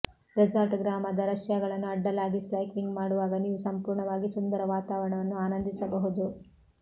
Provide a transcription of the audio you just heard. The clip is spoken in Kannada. ರೆಸಾರ್ಟ್ ಗ್ರಾಮದ ರಷ್ಯಾಗಳನ್ನು ಅಡ್ಡಲಾಗಿ ಸೈಕ್ಲಿಂಗ್ ಮಾಡುವಾಗ ನೀವು ಸಂಪೂರ್ಣವಾಗಿ ಸುಂದರ ವಾತಾವರಣವನ್ನು ಆನಂದಿಸಬಹುದು